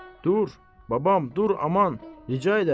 Dur, babam, dur aman, rica edirəm.